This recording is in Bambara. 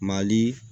Mali